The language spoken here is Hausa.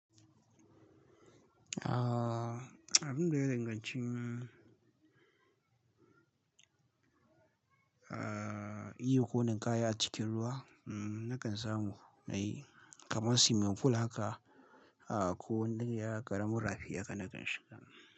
Abun da ya danganci, ah iyo ko ninkaya a cikin ruwa, nakan samu na yi kamar swimming pool haka. Ah ko wank ya ƙaramin rafi haka nakan shiga.